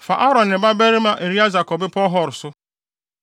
Fa Aaron ne ne babarima Eleasar kɔ Bepɔw Hor so.